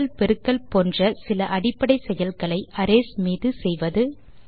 கூட்டல் பெருக்கல் போன்ற சில அடிப்படை செயல்களை அரேஸ் மீது செய்வது